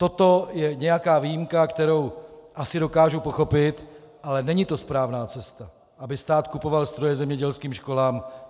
Toto je nějaká výjimka, kterou asi dokážu pochopit, ale není to správná cesta, aby stát kupovat stroje zemědělským školám.